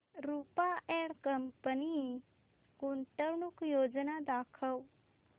Rupa and company गुंतवणूक योजना दाखव